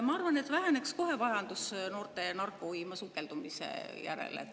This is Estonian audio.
Ma arvan, et kohe väheneks noorte vajadus narkouima sukelduda.